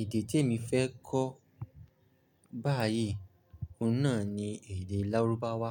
Èdè tí e mi fẹ́ kọ́ báyìí ọún náà ni èdè lárúbáwá.